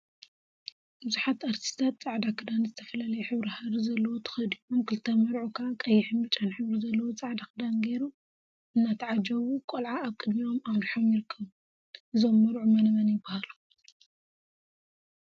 ቡዙሓት እርቲስቲታት ፃዕዳ ክዳን ዝተፈላለየ ሕብሪ ሃሪ ዘለዎ ተከዲኖም ክልተ መርዑ ከዓ ቀይሕን ብጫን ሕብሪ ዘለዎ ፃዕዳ ክዳን ገይሮም እናተዓጀቡ ቆልዓ አብ ቅድሚኦም አምሪሖም ይርከቡ፡፡ እዞም መርዑ መነመን ይበሃሉ?